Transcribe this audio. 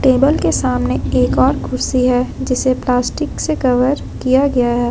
Table के सामने एक और कुर्सी है जिसे प्लास्टिक से कवर किया गया है।